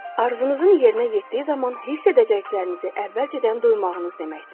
Arzunuzun yerinə yetdiyi zaman hiss edəcəklərinizi əvvəlcədən duymağınız deməkdir.